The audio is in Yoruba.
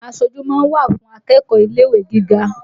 Aṣojú ma ń wà fùn akẹ́kọ́ọ̀ ilé-ìwé gíga